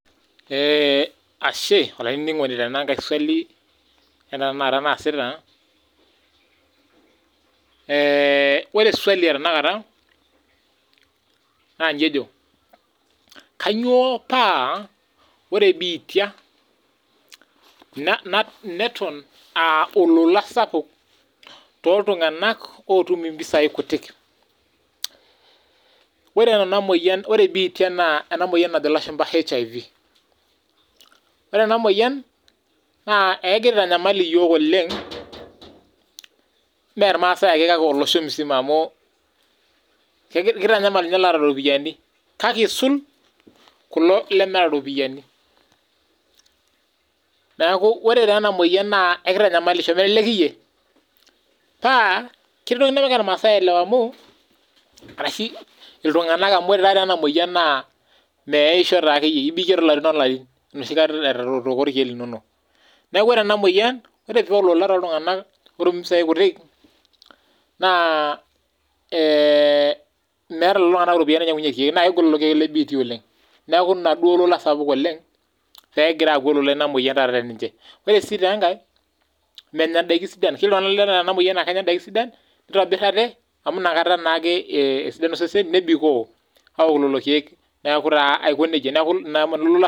Ashe olaininingoni tenangae swali etanakata enaasita. Eeeeh ore swali etanakata naa nji ejo, kainyoo paa ore biitia neton aa olola sapuk tooltunganak ootum mpisai kutik?. Ere biitia naa ena moyian najo ilashumba HIV. Ore ena moyian negira aitanyamal iyook oleng. Me irmaasai ake kake llosho pooki amuu ketanyamal ninye iloota iropiyiani. Kake eisul kulo lemeeta iropiyiani. Neaku ore taa ena moyian ekeitanyamalisho melelek iyie. Paa ketii entoki nemegira irmaasai ailewa ashuu iltunganak ore taa enamoyian naa imeyaisho taa akeyie ibikie taa irarin olarin enoshi kata itooko irkeek lino. Niaku ore ena moyian paa olola tooltunganak ootum impisai kutik, naa meeta lelo tunganak impisai nainyiangunyie irkeek negol lelo keek oleng. Naa ina peyie egira aaku olola sapuk oleng te ninche. Ore taa sii enkae. Menya ndaiki sidan. Keyieu naa ore iltunganak oota ena moyian naa kenya ndaiki sidan neitobir ate amuu inakata naake esidanu iseseni nebikoo aawuk lelo keek. Niaku taa aiko nejia ina olola.